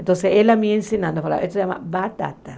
Então, ele me ensinava, ela falava, isso se chama batata.